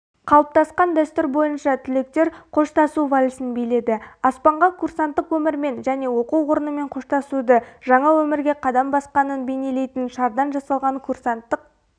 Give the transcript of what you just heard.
қалыптасқан дәстүр бойынша түлектер қоштасу вальсін биледі аспанға курсанттық өмірмен және оқу орнымен қоштасуды жаңа өмірге қадам басқанын бейнелейтін шардан жасалған курсанттық